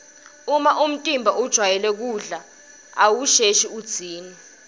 uma umtimba ujwayele kudlala awusheshi udzinwe